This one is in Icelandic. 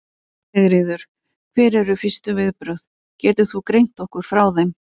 Sigríður: Hver eru fyrstu viðbrögð, getur þú greint okkur frá þeim?